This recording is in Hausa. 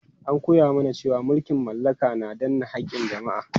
An koya mana cewa mulkin mallaka na danne haƙƙin jama'a.